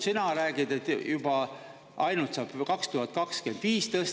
Sina räägid, et juba ainult saab 2025 tõsta.